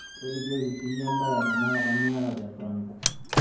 tolikioki siyie embaa ee tenakata niyata franco